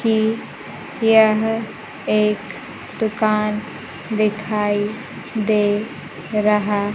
कि यह एक दुकान दिखाई दे रहा--